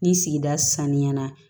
Ni sigida sanuya na